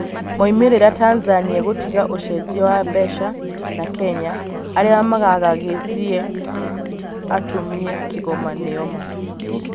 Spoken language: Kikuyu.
Moimĩrĩra Tanzania gũtiga ũcenjia wa mbeca na Kenya arĩa magagagĩtie atumie Kigoma nĩo ma?